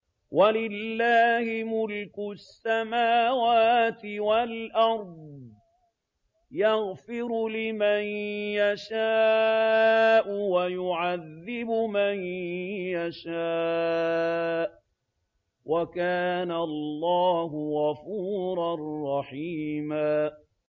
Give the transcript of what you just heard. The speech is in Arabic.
وَلِلَّهِ مُلْكُ السَّمَاوَاتِ وَالْأَرْضِ ۚ يَغْفِرُ لِمَن يَشَاءُ وَيُعَذِّبُ مَن يَشَاءُ ۚ وَكَانَ اللَّهُ غَفُورًا رَّحِيمًا